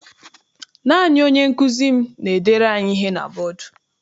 Naanị onye nkụzi m n'edere anyị ihe na bọdu.